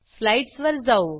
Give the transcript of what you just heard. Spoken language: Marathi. स्लाईडसवर जाऊ